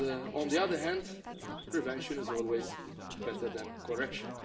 On the one hand, prevention is always better than correction.